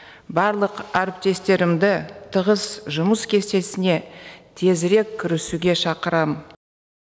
барлық әріптестерімді тығыз жұмыс кестесіне тезірек кірісуге шақырам